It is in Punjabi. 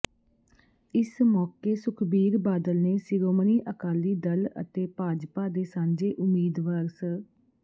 ਇਸ ਮੌਕੇ ਸੁਖਬੀਰ ਬਾਦਲ ਨੇ ਸਿਰੋਮਣੀ ਅਕਾਲੀ ਦਲ ਅਤੇ ਭਾਜਪਾ ਦੇ ਸਾਂਝੇ ਉਮੀਦਵਾਰ ਸ